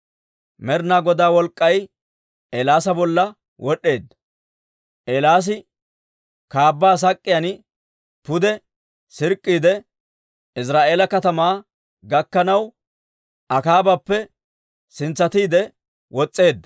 Med'inaa Godaa wolk'k'ay Eelaasa bolla wod'd'eedda; Eelaasi kaabbaa sak'k'iyaan pude sirk'k'iide, Iziraa'eela katamaa gakkanaw Akaabappe sintsatiide wos's'eedda.